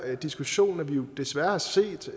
diskussion at vi desværre har set